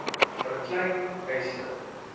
vir klein eise